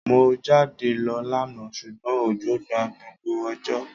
Mo jáde lo lánà sùgbón òjò gba gbogbo òjò